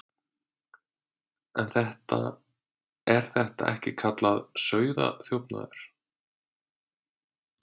Er þetta ekki kallað sauðaþjófnaður?